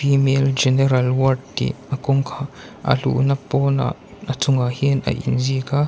female general ward tih a a luhna pawnah a chungah hian a inziak a.